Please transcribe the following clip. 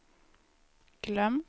glömt